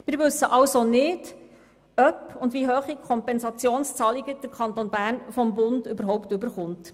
Wir wissen also nicht, ob – und wenn überhaupt wie hoch – der Kanton Bern Kompensationszahlungen des Bundes erhält.